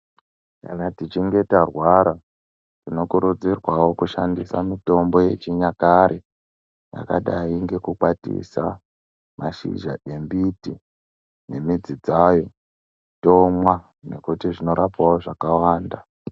Kana tichinge tarwara tinokurudzirwawo kushandisa mitombo yechinyakare yakadai ngekukwatisa mashizha embiti nemidzi dzayo tomwa nekuti zvinorapawo zvakawanda.